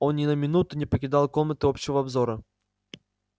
он ни на минуту не покидал комнаты общего обзора